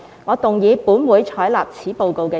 我動議"本會採納此報告"的議案。